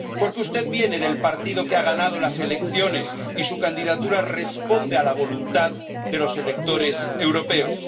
Porque usted viene del partido que ha ganado las elecciones, y su candidatura responde a la voluntad de los electores europeos.